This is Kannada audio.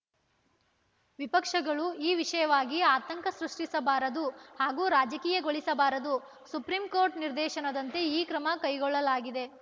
ವಿಪಕ್ಷಗಳು ಈ ವಿಷಯವಾಗಿ ಆತಂಕ ಸೃಷ್ಟಿಸಬಾರದು ಹಾಗೂ ರಾಜಕೀಯಗೊಳಿಸಬಾರದು ಸುಪ್ರೀಂಕೋರ್ಟ್‌ ನಿರ್ದೇಶನದಂತೆ ಈ ಕ್ರಮ ಕೈಗೊಳ್ಳಲಾಗಿದೆ